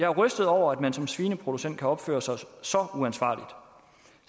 er rystet over at man som svineproducent kan opføre sig så uansvarligt